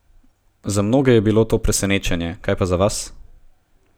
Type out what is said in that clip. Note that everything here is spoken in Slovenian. Za mnoge je bilo to presenečenje, kaj pa za vas?